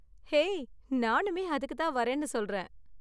Hey, நானுமே அதுக்கு தான் வரேன்னு சொல்றேன்.